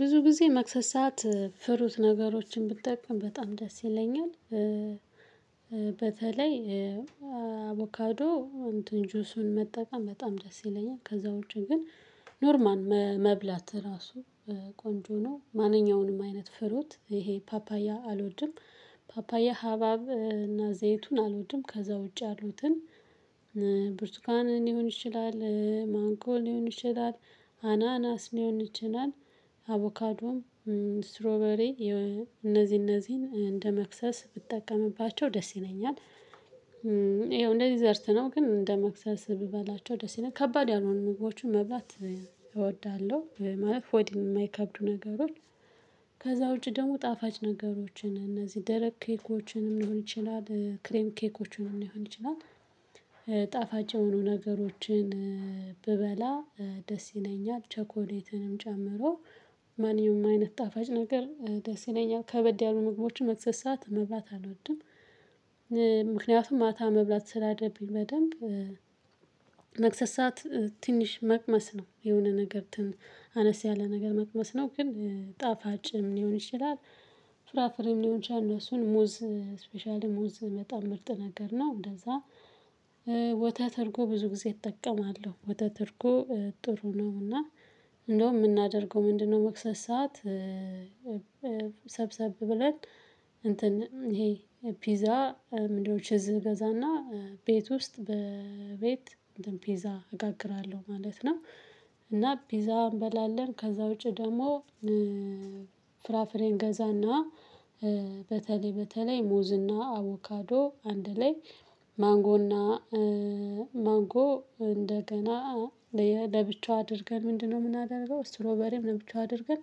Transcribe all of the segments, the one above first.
ብዙ ጊዜ መክሰስ ሰዓት ፍሩት ነገሮችን ብጠቀም በጣም ደስ ይለኛል። በተለይ አቮካዶ እንትን ጁሱን መጠቀም በጣም ደስ ይለኛል። ከዛ ውጭ ግን ኖርማል መብላት ራሱ ቆንጆ ነው። ማንኛውንም አይነት ፍሩት ይሄ ፓፓያ አልወድም። ፓፓያ ሀባብ እና ዘይቱን አልወድም። ከዛ ውጪ ያሉትን ብርቱኳን ሊሆን ይችላል ማንጎ ሊሆን ይችላል አናናስ ሊሆን ይችላል አቮካዶም ስትሮበሪ እነዚህ እነዚህን እንደ መክሰስ ብጠቀምባቸው ደስ ይለኛል። ይኸው ዴዘርት ነው ግን እንደ መክሰስ ብበላቸው ደስ ይለኛል ከባድ ያልሆኑ ምግቦቹ መብላት እወዳለሁ ማለት ሆድ የማይከብዱ ነገሮች። ከዛ ውጪ ደግሞ ጣፋጭ ነገሮችን እነዚህ ደረቅ ኬኮችንም ሊሆን ይችላል ክሬም ኬኮችንም ሊሆን ይችላል። ጣፋጭ የሆኑ ነገሮችን ብበላ ደስ ይለኛል። ቸኮሌትንም ጨምሮ ማንኛውም አይነት ጣፋጭ ነገር ደስ ይለኛል። ከበድ ያሉ ምግቦችን መክሰስ ሰዓት መብላት አልወድም። ምክንያቱም ማታ መብላት ስላለብኝ በደንብ መክሰስ ሰዓት ትንሽ መቅመስ ነው የሆነ ነገር አነስ ያለ ነገር መቅመስ ነው። ግን ጣፋጭም ሊሆን ይችላል። ፍራፍሬም ሊሆን ይችላል እነሱን ሙዝ ስፔሻሊ ሙዝ መጣም ምርጥ ነገር ነው። እንደዛ ወተት እርጎ ብዙ ጊዜ እጠቀማለሁ ወተት እርጎ ጥሩ ነው። እና እንደውም የምናደርገው ምንድነው? መክሰስ ሰዓት ሰብሰብ ብለን እንትን ይሄ ፒዛ ምንድነው ችዝ እገዛና ቤት ውስጥ በቤት እንትን ፒዛ አጋግራለሁ ማለት ነው። እና ፒዛ እንበላለን። ከዛ ውጪ ደግሞ ፍራፍሬን ገዛና በተለይ በተለይ ሙዝና አቮካዶ አንድ ላይ ማንጎና ማንጎ እንደገና ለብቻው አድርገን ምንድነው የምናደርገው ስትሮበሪም ለብቻው አድርገን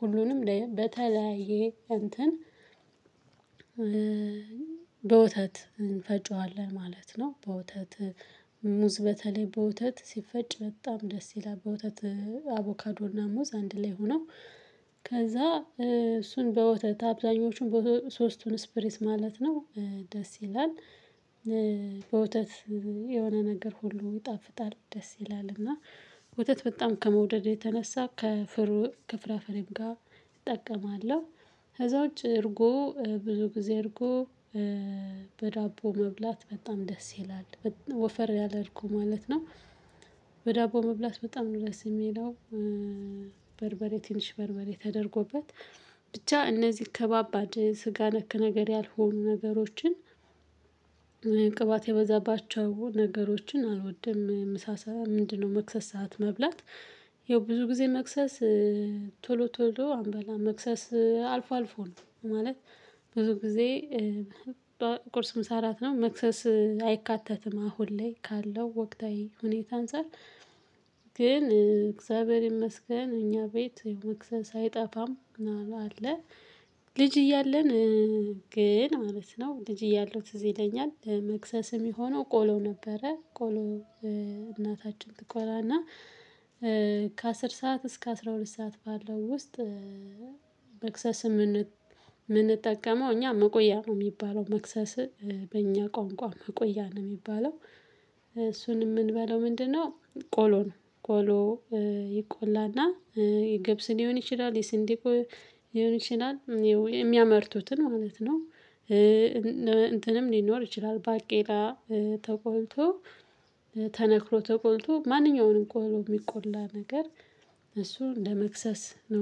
ሁሉንም በተለያየ እንትን በወተት እንፈጨዋለን ማለት ነው። በወተት ሙዝ በተለይ በወተት ሲፈጭ በጣም ደስ ይላል። በወተት አቮካዶና ሙዝ አንድ ላይ ሆነው ከዛ እሱን በወተት አብዛኞቹን ሶስቱን ስፕሪስ ማለት ነው። ደስ ይላል። በወተት የሆነ ነገር ሁሉ ይጣፍጣል ደስ ይላልና ወተት በጣም ከመውደዴ የተነሳ ከፍር ከፍራፍሬም ጋር እጠቀማለሁ። ከዛ ውጭ እርጎ ብዙ ጊዜ እርጎ በዳቦ መብላት በጣም ደስ ይላል። ወፈር ያለ እርጎ ማለት ነው። በዳቦ መብላት በጣም ነው ደስ የሚለው። በርበሬ ትንሽ በርበሬ ተደርጎበት ብቻ እነዚህ ከባባድ ስጋ ነክ ነገር ያልሆኑ ነገሮችን። ቅባት የበዛባቸው ነገሮችን አልወድም ምሳ ሰዓት ምንድነው? መክሰስ ሰዓት መብላት ያው ብዙ ጊዜ መክሰስ ቶሎ ቶሎ አንበላም መክሰስ አልፎ አልፎ ነው ማለት። ብዙ ጊዜ ቁርስም ምሳ እራት ነው መክሰስ አይካተትም። አሁን ላይ ካለው ወቅታዊ ሁኔታ አንፃር። ግን እግዚአብሔር ይመስገን እኛ ቤት መክሰስ አይጠፋም አለ። ልጅ እያለን ግን ማለት ነው። ልጅ እያለው ትዝ ይለኛል መክሰስ የሚሆነው ቆሎ ነበረ ቆሎ። እናታችን ትቆላና ከአስር ሰዓት እስከ አስራ ሁለት ሰዓት ባለው ውስጥ። መክሰስ የምንጠቀመው እኛ መቆያ ነው የሚባለው መክሰስ። በእኛ ቋንቋ መቆያ ነው የሚባለው። እሱንም የምንበለው ምንድነው? ቆሎ ነው ቆሎ ይቆላና የገብስ ሊሆን ይችላል የስንዴ ሊሆን ይችላል የሚያመርቱትን ማለት ነው። እንትንም ሊኖር ይችላል ባቄላ ተቆልቶ ተነክሮ ተቆልቶ ማንኛውንም ቆሎ የሚቆላ ነገር። እሱ እንደመክሰስ ነው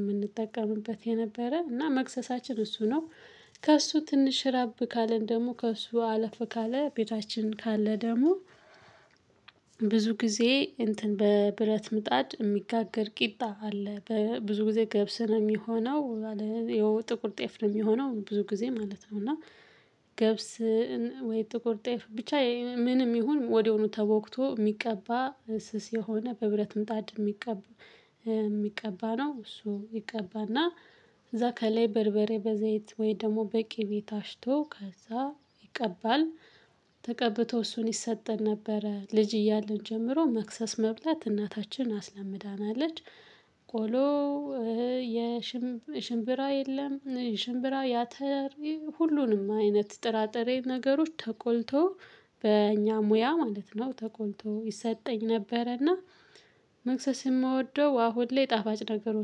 የምንጠቀምበት የነበረ እና መክሰሳችን እሱ ነው። ከእሱ ትንሽ ራብ ካለን ደግሞ ከእሱ አለፍ ካለ ቤታችን ካለ ደግሞ ብዙ ጊዜ እንትን በብረት ምጣድ የሚጋገር ቂጣ አለ በ ብዙ ጊዜ ገብስ ነው የሚሆነው። ያው ጥቁር ጤፍ ነው የሚሆነው ብዙ ጊዜ ማለት ነው እና። ገብስ ወይ ጥቁር ጤፍ ብቻ ምንም ይሁን ወዲያሁኑ ተቦክቶ የሚቀባ ስስ የሆነ በብረት ምጣድ የሚቀባ የሚቀባ ነው። እሱ ይቀባና እዛ ከላይ በርበሬ በዘይት ወይ ደግሞ በቅቤ ታሽቶ ከዛ ይቀባል። ተቀብቶ እሱን ይሰጠን ነበረ ልጅ እያለን ጀምሮ መክሰስ መብላት እናታችን አስለምዳናለች። ቆሎ የሽምብራ የለም ሽምብራ የአተር ሁሉንም አይነት ጥራጥሬ ነገሮች ተቆልቶ በእኛ ሙያ ማለት ነው ተቆልቶ ይሰጠኝ ነበረና። መክሰስ የምወደው አሁን ላይ ጣፋጭ ነገሮች